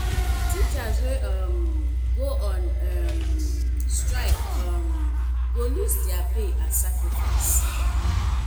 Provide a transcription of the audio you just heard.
teachers wey um go on um strike um go lose their pay as sacrifice